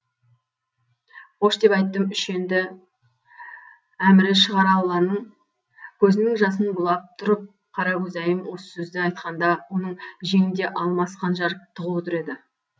қош деп айттым үш енді әмірі шығар алланың көзінің жасын бұлап тұрып қаракөзайым осы сөзді айтқанда оның жеңінде алмас қанжар тығулы тұр еді